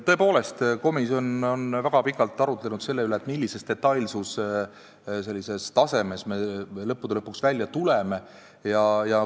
Tõepoolest, komisjon väga pikalt arutles selle üle, millise detailsuse tasemega me lõppude lõpuks välja tuleme.